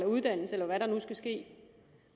uddannelse eller hvad der nu skal ske